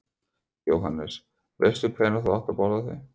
Jóhannes: Veistu hvenær þú átt að borða þau?